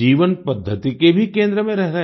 जीवन पद्धति के भी केंद्र में रह रहे हैं